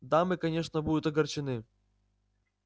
дамы конечно будут огорчены